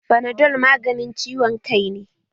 Fanadol maganin ciwon kai ne